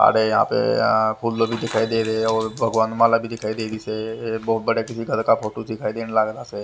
आड़े यापे आ फुल्ल भी दिखाई दे रहे है और भगवान माला भी दिखाई दे रही सै बहुत बड़े किसी घर का फोटो दिखाई देन लागरा सै --